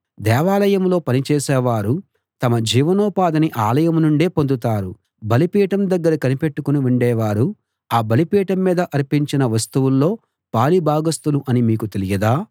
దేవాలయంలో పని చేసేవారు తమ జీవనోపాధిని ఆలయం నుండే పొందుతారు బలిపీఠం దగ్గర కనిపెట్టుకుని ఉండేవారు ఆ బలిపీఠం మీద అర్పించిన వస్తువుల్లో పాలిభాగస్తులు అని మీకు తెలియదా